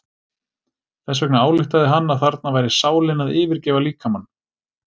Þess vegna ályktaði hann að þarna væri sálin að yfirgefa líkamann.